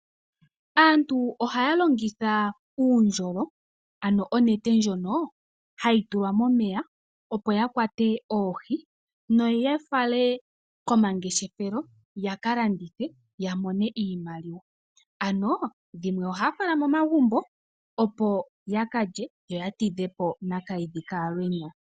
Aantu ohaya longitha uundjolo nonete ndjono hayi tulwa momeya, opo ya kwate oohi ya fale komangeshefelo ya ka landithe ya mone iimaliwa. Dhimwe ohaya fala momagumbo, opo ya ka lye yo ya tidhe po nakayidhi kaAlwenya.